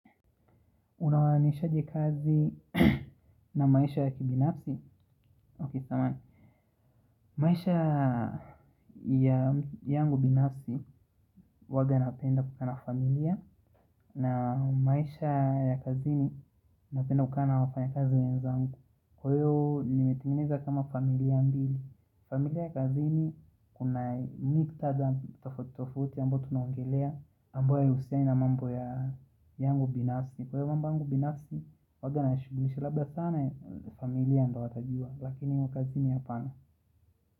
Unawanishaje kazi na maisha ya kibinafsi? Ok, samahani. Maisha ya yangu binafsi huwaga napenda kukaa na familia na maisha ya kazini napenda kukaa na wafanyikazi wenzangu. Kwa hiyo nimetengeneza kama familia mbili. Familia ya kazini kuna miktadha tofauti tofauti ambayo tunongelea ambayo hayahusiani na mambo ya yangu binafsi. Kwa hivo mambo yangu binafsi huwaga nashughulisha labda sana familia ndo watajuwa lakini wa kazini hapana.